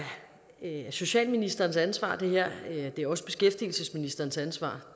socialministerens ansvar det er også beskæftigelsesministerens ansvar